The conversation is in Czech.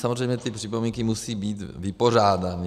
Samozřejmě ty připomínky musí být vypořádány.